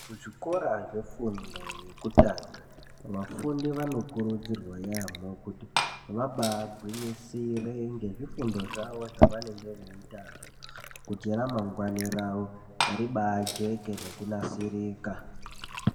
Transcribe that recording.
Kuzvikora zvefundo yekutanga vafundi vanokurudzirwa yaamo kuti vabaagwinyisire ngezvifundo zvavo zvavanenge veiitazvo kuti ramangwani ravo ribajeke nekunasirika .